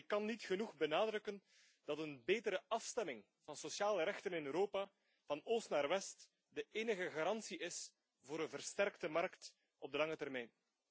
En ik kan niet genoeg benadrukken dat een betere afstemming van sociale rechten in Europa, van oost naar west, de enige garantie is voor een versterkte markt op de lange termijn.